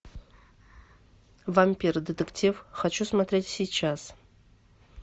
вампир детектив хочу смотреть сейчас